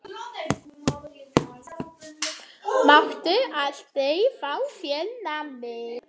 Máttu aldrei fá þér nammi?